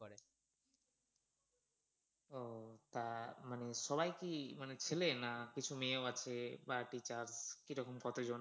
তা মানে সবাই কি মানে ছেলে না কিছু মেও আছে বা কিরম কতজন?